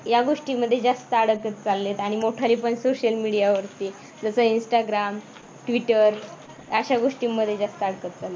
या गोष्टीमध्ये जास्त अडकत चाललेत आणि मोठाले पण social media वरती जसं InstagramTwitter अशा गोष्टींमध्ये जास्त अडकत चालले आहेत.